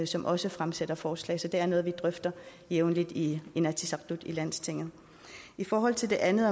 som også fremsætter forslag så det er noget vi drøfter jævnligt i inatsisartut altså i landstinget i forhold til det andet